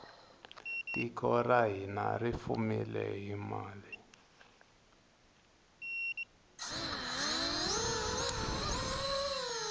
tiko ra hina ri fumile hi mali